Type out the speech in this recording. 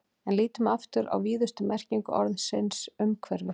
En lítum aftur á víðustu merkingu orðsins umhverfi.